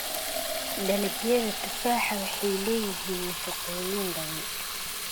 Dalagyada tufaaxa waxay leeyihiin nafaqooyin badan.